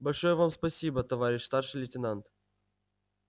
большое вам спасибо товарищ старший лейтенант